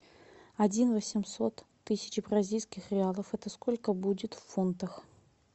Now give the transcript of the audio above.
один восемьсот тысяч бразильских реалов это сколько будет в фунтах